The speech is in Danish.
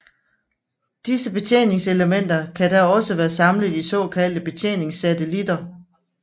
Disse betjeningselementer kan dog også være samlet i såkaldte betjeningssatelitter